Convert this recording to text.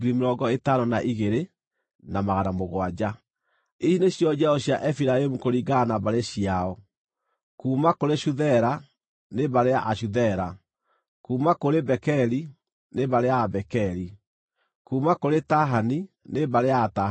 Ici nĩcio njiaro cia Efiraimu kũringana na mbarĩ ciao: kuuma kũrĩ Shuthela, nĩ mbarĩ ya Ashuthela; kuuma kũrĩ Bekeri, nĩ mbarĩ ya Abekeri; kuuma kũrĩ Tahani nĩ mbarĩ ya Atahani.